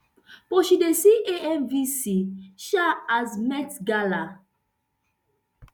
but she dey see amvc um as met gala